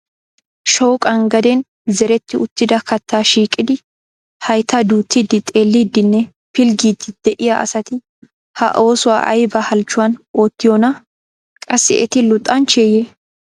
Shooqan gaden zeretti uttida kattaa shiiqidi haytta duuttidi xeelidinne pilggiidi de'iyaa asati ha oosuwa aybba halchchuwan oottiyoona? Qassi eti luxanchcheye?